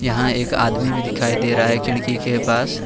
यहां एक आदमी भी दिखाई दे रहा है खिड़की के पास।